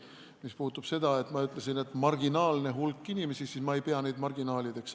Mis puutub sellesse, et ma rääkisin marginaalsest hulgast inimestest, siis ma ei pea neid marginaalideks.